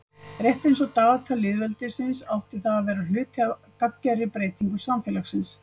Rétt eins og dagatal lýðveldisins átti það að vera hluti af gagngerri breytingu samfélagsins.